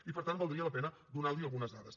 i per tant valdria la pena donar algunes dades